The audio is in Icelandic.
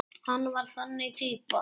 Hann var þannig týpa.